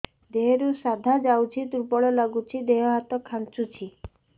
ଦେହରୁ ସାଧା ଯାଉଚି ଦୁର୍ବଳ ଲାଗୁଚି ଦେହ ହାତ ଖାନ୍ଚୁଚି